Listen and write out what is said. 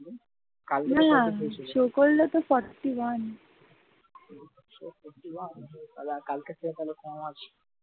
তাহলে আর কালকের থেকে তাহলে কম আছে।